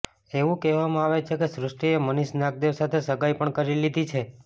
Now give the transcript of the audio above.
એવું કહેવામાં આવે છે કે સૃષ્ટિએ મનીષ નાગદેવ સાથે સગાઈ પણ કરી લીધી છે